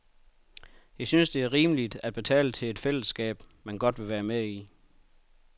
Jeg synes, det er rimeligt at betale til et fællesskab, man godt vil være med i.